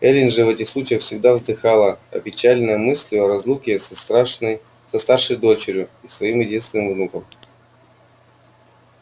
эллин же в этих случаях всегда вздыхала опечаленная мыслью о разлуке со страшной со старшей дочерью и своим единственным внуком